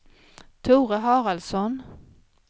Tore Haraldsson